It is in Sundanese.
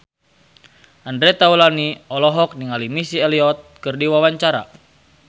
Andre Taulany olohok ningali Missy Elliott keur diwawancara